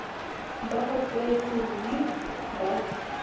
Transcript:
ba a kwetse nqi ba